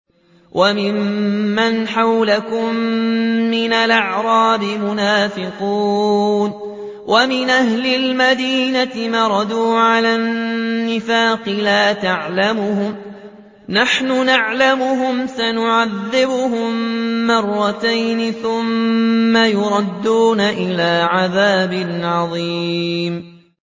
وَمِمَّنْ حَوْلَكُم مِّنَ الْأَعْرَابِ مُنَافِقُونَ ۖ وَمِنْ أَهْلِ الْمَدِينَةِ ۖ مَرَدُوا عَلَى النِّفَاقِ لَا تَعْلَمُهُمْ ۖ نَحْنُ نَعْلَمُهُمْ ۚ سَنُعَذِّبُهُم مَّرَّتَيْنِ ثُمَّ يُرَدُّونَ إِلَىٰ عَذَابٍ عَظِيمٍ